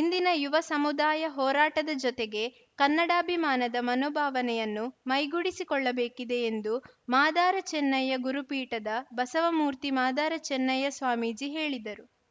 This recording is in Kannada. ಇಂದಿನ ಯುವ ಸಮುದಾಯ ಹೋರಾಟದ ಜೊತೆಗೆ ಕನ್ನಡಾಭಿಮಾನದ ಮನೋಭಾವನೆಯನ್ನು ಮೈಗೂಡಿಸಿಕೊಳ್ಳಬೇಕಿದೆ ಎಂದು ಮಾದಾರ ಚೆನ್ನಯ್ಯ ಗುರುಪೀಠದ ಬಸವಮೂರ್ತಿ ಮಾದಾರ ಚೆನ್ನಯ್ಯ ಸ್ವಾಮೀಜಿ ಹೇಳಿದರು